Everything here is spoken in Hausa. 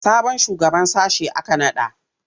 Sabon shugaban sashe aka naɗa?